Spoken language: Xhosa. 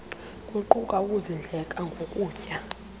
luquka ukusindleka ngokutya